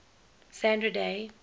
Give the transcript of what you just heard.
sandra day